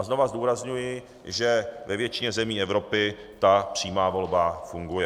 A znovu zdůrazňuji, že ve většině zemí Evropy ta přímá volba funguje.